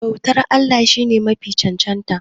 bautar Allah shi ne Mafi cancanta